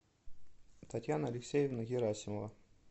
татьяна алексеевна герасимова